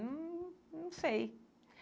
Hum Não sei.